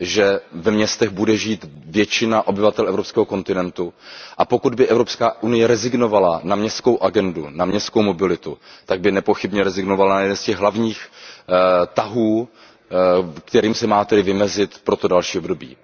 Že ve městech bude žít většina obyvatel evropského kontinentu, a pokud by Evropská unie rezignovala na městskou agendu, na městskou mobilitu, tak by nepochybně rezignovala na jeden z těch hlavních tahů, kterým se má vymezit pro to další období.